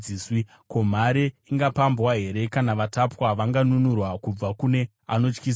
Ko, mhare ingapambwa here, kana vatapwa vanganunurwa kubva kune anotyisa here?